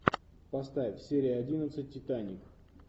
поставь серия одиннадцать титаник